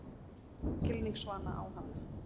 Ég horfi skilningsvana á hana.